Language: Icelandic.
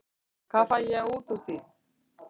Hvað fæ ég út úr því?